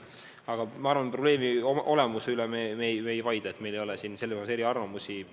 Samas ma arvan, et probleemi olemuse üle me ei vaidle, meil ei ole selles eriarvamusi.